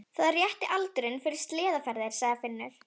Það er rétti aldurinn fyrir sleðaferðir, sagði Finnur.